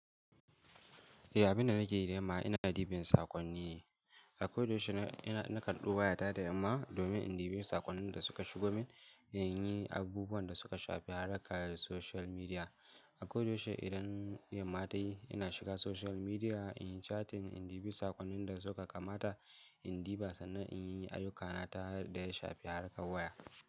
Eh abinda nake yi da yamma ina na ɗibi sakonni. Ako da yaushe na, ina na karɓi waya ta da yamma domin in ɗibi saƙonnin da suka shigo min, in yi abubuwan da suka shafi haɗaka da social media. Ako da yaushe idan yamma ta yi ina shiga social media, in yi chatting, in ɗibi saƙonnin da suka kamata, in ɗibi sannan in yi ayyukana ta hanyar da ya shafi haɗaka waya.